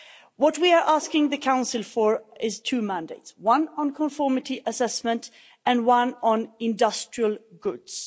What we are asking the Council for is two mandates one on conformity assessment and one on industrial goods.